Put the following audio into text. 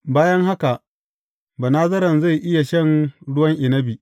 Bayan haka, Banazaren zai iya shan ruwan inabi.